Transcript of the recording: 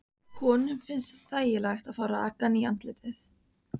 Honum finnst þægilegt að fá rakann í andlitið.